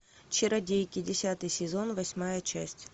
чародейки десятый сезон восьмая часть